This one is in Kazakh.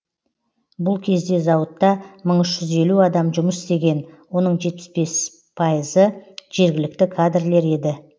бұл кезде зауытта мың үш жүз елу адам жұмыс істеген оның жетпіс бес пайызы жергілікті кадрлер еді